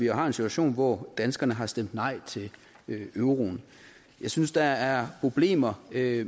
har en situation hvor danskerne har stemt nej til euroen jeg synes der er problemer med